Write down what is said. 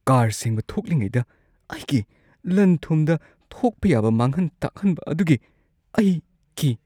Car ꯁꯦꯡꯕ ꯊꯣꯛꯂꯤꯉꯩꯗ ꯑꯩꯒꯤ ꯂꯟ-ꯊꯨꯝꯗ ꯊꯣꯛꯄ ꯌꯥꯕ ꯃꯥꯡꯍꯟ-ꯇꯥꯛꯍꯟꯕ ꯑꯗꯨꯒꯤ ꯑꯩ ꯀꯤ ꯫